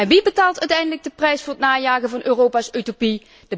En wie betaalt uiteindelijk de prijs voor het najagen van Europa's utopie?